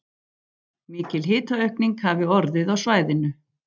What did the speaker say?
Mikil hitaaukning hafi orðið á svæðinu